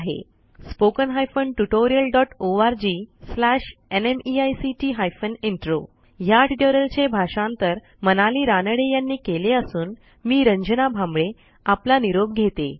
spoken hyphen tutorial dot ORG slash NMEICT hyphen intro ह्या ट्युटोरियलचे भाषांतर मनाली रानडे यांनी केले असून मी रंजना भांबळे आपला निरोप घेते160